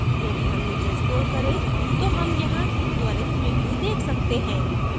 यदि हम नीचे scroll करें तो हम यहाँ त्वरित प्रिव्यू देख सकते हैं